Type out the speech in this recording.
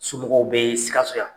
Somɔgɔw bee Sikassso yan.